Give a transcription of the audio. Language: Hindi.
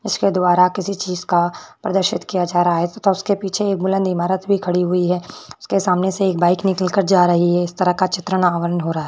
इसके द्वारा किसी चीज़ का प्रदर्शन किया जा रहा है तथा उसके पीछे एक बुलंद इमारत भी खड़ी हुई है उसके सामने एक बाइक निकल के जा रही है इस तरह का चित्र आवरण हो रहा है।